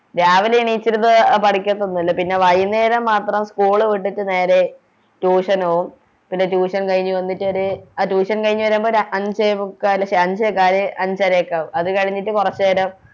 രാവിലെ എണീച്ചിരുന്ന് എ പഠിക്കതൊന്നുല്ല പിന്നെ വൈകുന്നേരം മാത്രം School വിട്ടിട്ട് നേരെ Tution പോകും പിന്നെ Tution കഴിഞ്ഞ് വന്നിട്ടൊര് ആ Tution കഴിഞ്ഞ് വരുമ്പോ ഒര് അഞ്ചേമുക്കാല് ശേ അഞ്ചേകാല് അഞ്ചര ഒക്കെ ആവും അത് കളിഞ്ഞിട്ട് കൊറച്ചേരാം